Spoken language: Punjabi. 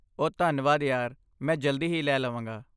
ਓ ਧੰਨਵਾਦ ਯਾਰ, ਮੈਂ ਜਲਦੀ ਹੀ ਲੈ ਲਵਾਂਗਾ।